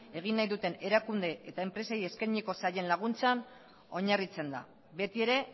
egin nahi duten erakunde eta enpresei eskainiko zaien laguntzan oinarritzen da betiere